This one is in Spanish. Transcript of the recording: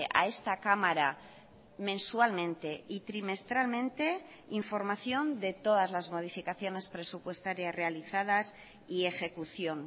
a esta cámara mensualmente y trimestralmente información de todas las modificaciones presupuestarias realizadas y ejecución